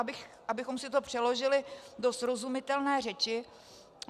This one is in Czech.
Abychom si to přeložili do srozumitelné řeči: